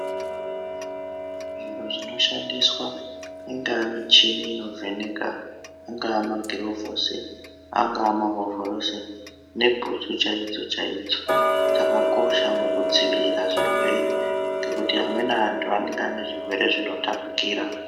Zviro zvinoshandiswa ingava michini inovheneka ingava magirovhosi ingava mahovhorosi nebhutsu chaidzo chaidzo dzakakosha mukudzivira zvirwere ngekuti amweni antu anenge ane zvirwere zvinotapukira.